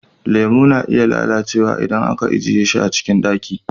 Lemo na iya lalacewa idan aka ajiye shi a cikin ɗaki.